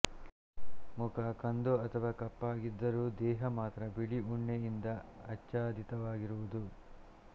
ಮುಖ ಕಂದು ಅಥವಾ ಕಪ್ಪಾಗಿದ್ದರೂ ದೇಹ ಮಾತ್ರ ಬಿಳಿ ಉಣ್ಣೆಯಿಂದ ಆಚ್ಛಾದಿತವಾಗಿರುವುದು